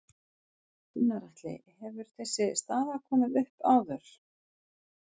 Gunnar Atli: Hefur þessi staða komið upp áður?